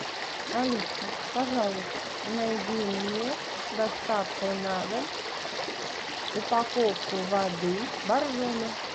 алиса пожалуйста найди мне с доставкой на дом упаковку воды боржоми